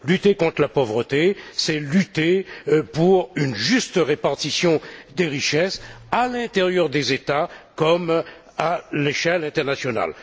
Lutter contre la pauvreté, c'est lutter pour une juste répartition des richesses à l'intérieur des États comme à l'échelle internationale.